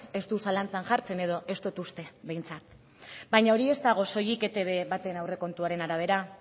ez du zalantzan jartzen edo ez dut uste behintzat baina hori ez dago soilik etb baten aurrekontuaren arabera